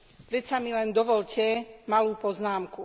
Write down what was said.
Predsa mi len dovoľte malú poznámku.